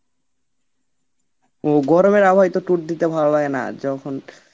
ও গরমের আবহাওয়ায় তো tour দিতে ভালো লাগে না যখন